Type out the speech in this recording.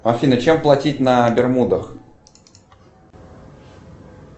афина чем платить на бермудах